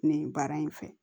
Nin baara in fɛ